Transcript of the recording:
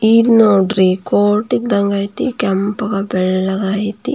ಇದು ನೋಡ್ರಿ ಕೋರ್ಟ್ ಇದ್ದಂಗೆ ಐತೆ ಕೆಂಪಗೆ ಬೆಳ್ಳಗೆ ಐತೆ --